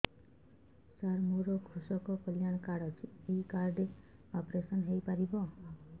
ସାର ମୋର କୃଷକ କଲ୍ୟାଣ କାର୍ଡ ଅଛି ଏହି କାର୍ଡ ରେ ଅପେରସନ ହେଇପାରିବ